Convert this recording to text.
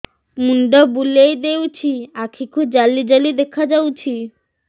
ମୁଣ୍ଡ ବୁଲେଇ ଦେଉଛି ଆଖି କୁ ଜାଲି ଜାଲି ଦେଖା ଯାଉଛି